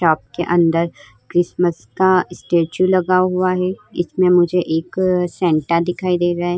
Shop के अंदर Christmas का स्टेचू लगा हुआ हे। इसमें मुझे एक सैंटा दिखाई दे रहा है।